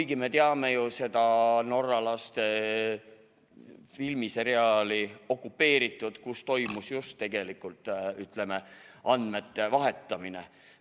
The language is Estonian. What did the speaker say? Aga me teame ju seda norralaste filmiseriaali "Okupeeritud", kus toimus just, ütleme, andmete vahetamine.